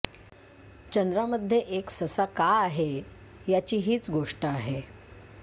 चंद्रामध्ये एक ससा का आहे याची हीच गोष्ट आहे